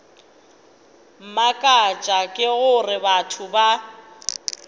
mmakatša ke gore batho ba